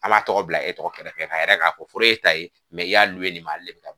An m'a tɔgɔ bila e tɔgɔ kɛrɛfɛ k'a yira k'a ko foro ye e ta ye i y'a nin ma le.